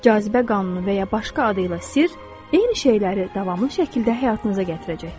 Cazibə qanunu və ya başqa adı ilə sirr eyni şeyləri davamlı şəkildə həyatınıza gətirəcəkdir.